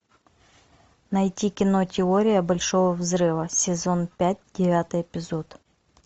найти кино теория большого взрыва сезон пять девятый эпизод